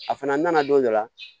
A fana nana don dɔ la